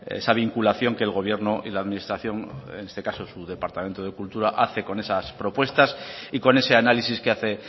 esa vinculación que el gobierno y la administración en este caso su departamento de cultura hace con esas propuestas y con ese análisis que hace